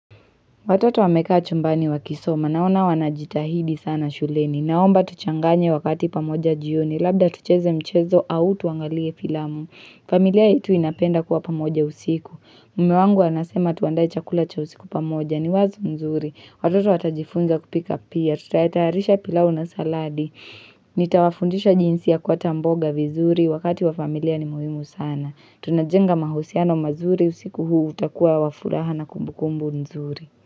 Watoto wamekaa chumbani wakisoma. Naona wanajitahidi sana shuleni. Naomba tuchanganye wakati pamoja jioni. Labda tucheze mchezo au tuangalie filamu. Familia yetu inapenda kuwa pamoja usiku. Mume wangu anasema tuandae chakula cha usiku pamoja. Ni wazo nzuri. Watoto watajifunza kupika pia. Tutatayarisha pilau na saladi. Nitawafundisha jinsi ya kuata mboga vizuri. Wakati wa familia ni muhimu sana. Tunajenga mahusiano mazuri. Usiku huu utakuwa wa furaha na kumbukumbu nzuri.